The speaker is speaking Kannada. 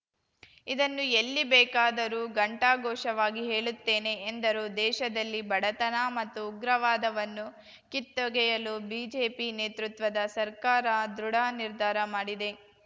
ಇದನ್ನು ಎಲ್ಲಿ ಬೇಕಾದರೂ ಘಂಟಾಘೋಷವಾಗಿ ಹೇಳುತ್ತೇನೆ ಎಂದರು ದೇಶದಲ್ಲಿ ಬಡತನ ಮತ್ತು ಉಗ್ರವಾದವನ್ನು ಕಿತ್ತೊಗೆಯಲು ಬಿಜೆಪಿ ನೇತೃತ್ವದ ಸರ್ಕಾರ ದೃಢ ನಿರ್ಧಾರ ಮಾಡಿದೆ